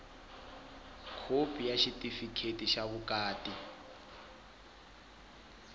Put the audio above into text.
khopi ya xitifikheti xa vukati